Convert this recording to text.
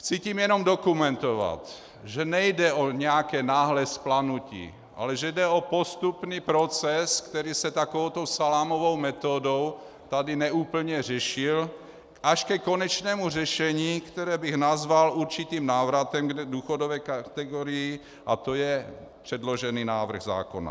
Chci tím jenom dokumentovat, že nejde o nějaké náhlé vzplanutí, ale že jde o postupný proces, který se takovouto salámovou metodou tady neúplně řešil, až ke konečnému řešení, které bych nazval určitým návratem k důchodové kategorii, a to je předložený návrh zákona.